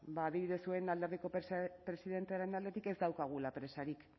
adibidez zuen alderdiko presidentearen aldetik ez daukagula presarik